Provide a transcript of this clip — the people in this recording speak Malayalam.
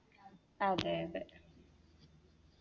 അതെ അതെ